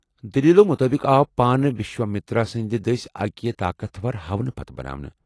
دٔلیٖلو مُطٲبق آو پانہٕ وشوامتر سٕند دٕسۍ اکہِ طاقتور ہونہٕ پتہٕ بناونہٕ ۔